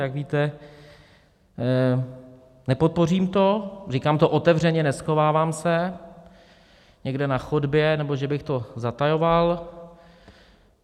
Jak víte, nepodpořím to, říkám to otevřeně, neschovávám se někde na chodbě, nebo že bych to zatajoval.